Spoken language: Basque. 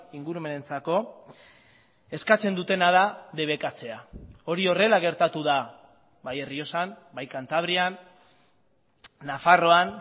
ingurumenentzako eskatzen dutena da debekatzea hori horrela gertatu da bai errioxan bai kantabrian nafarroan